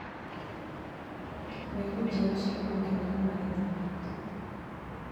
Mbegũ njerũ cikuongerera magetha maitũ.